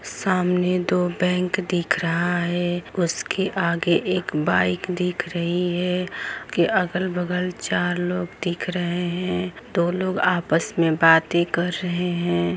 सामने दो बैंक दिख रहा है उसके आगे एक बाइक दिख रहे है अगल बगल चार लोग दिख रहे हैं दो लोग आपस में बातें कर रहे हैं।